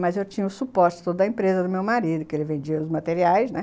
Mas eu tinha o suposto da empresa do meu marido, que ele vendia os materiais, né?